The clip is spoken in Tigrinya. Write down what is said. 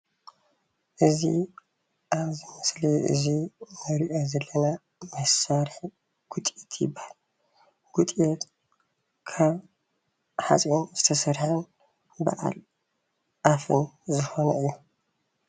እዚ ኣብዚ ምስሊ እዙይ እንሪኦ ዘለና መሳርሒ ጉጤት ይበሃል። ጉጤት ካብ ሓፂን ዝተሰርሐ በዓል ኣፍን ዝኾነ እዩ።